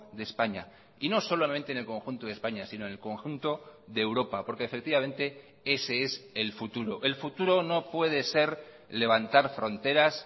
de españa y no solamente en el conjunto de españa sino en el conjunto de europa porque efectivamente ese es el futuro el futuro no puede ser levantar fronteras